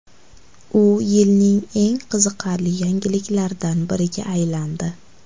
U yilning eng qiziqarli yangiliklaridan biriga aylandi.